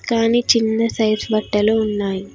కానీ చిన్న సైజ్ బట్టలు ఉన్నాయ్.